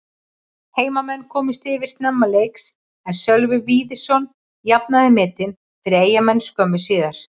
Heimamenn komust yfir snemma leiks en Sölvi Víðisson jafnaði metin fyrir Eyjamenn skömmu síðar.